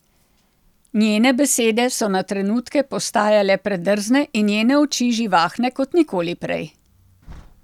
Njene besede so na trenutke postajale predrzne in njene oči živahne kot nikoli prej.